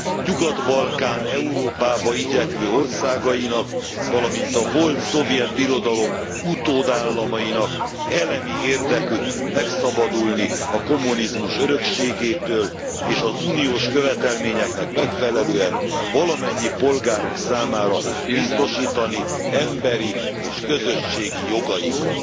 Nyugat Balkán Európába igyekvő országainak, valamint a volt szovjet birodalom utódállamainak elemi érdekük megszabadulni a kommunizmus örökségétől és az uniós követelményeknek megfelelően valamennyi polgáruk számára biztosítani emberi és közösségi jogaikat.